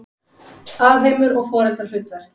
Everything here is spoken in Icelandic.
Alheimur og foreldrahlutverk